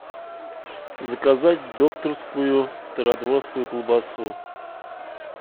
заказать докторскую стародворскую колбасу